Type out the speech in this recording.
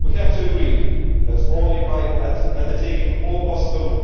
We have to agree that this can be done only by undertaking all possible